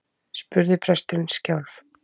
spurði presturinn skjálf